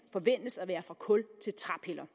forventes at være fra kul til træpiller